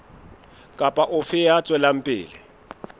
kapa ofe ya tswelang pele